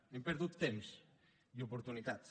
hem perdut temps i oportunitats